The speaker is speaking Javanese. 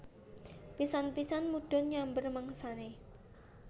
Pisan pisan mudhun nyamber mangsane